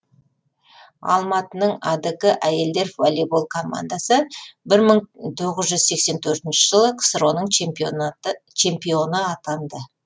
алматының адк әйелдер волейбол командасы бір мың тоғыз жүз сексен төртінші жылы ксро ның чемпионы атанды